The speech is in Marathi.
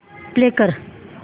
प्ले कर